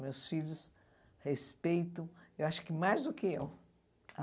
Meus filhos respeitam, eu acho que mais do que eu.